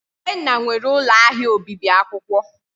Tobenna nwere ụlọ ahịa obibi akwụkwọ.